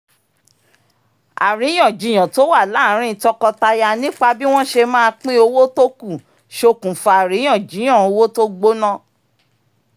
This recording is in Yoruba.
àríyànjiyàn tó wà láàárín tọkọtaya nípa bí wọ́n ṣe máa pín owó tó kù ṣókùnfà àríyànjiyàn owó tó gbóná